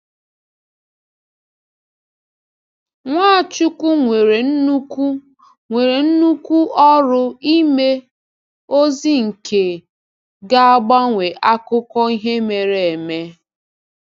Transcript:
Nwachukwu nwere nnukwu nwere nnukwu ọrụ ime, ozi nke gāgbanwe akụkọ ihe mere eme.